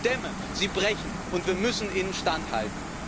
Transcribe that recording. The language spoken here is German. Denn die Dämme sie brechen, und wir müssen ihnen standhalten.